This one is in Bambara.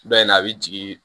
Dɔ in a bɛ jigin